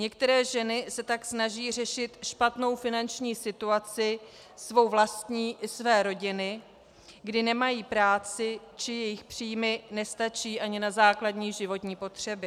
Některé ženy se tak snaží řešit špatnou finanční situaci, svou vlastní i své rodiny, kdy nemají práci či jejich příjmy nestačí ani na základní životní potřeby.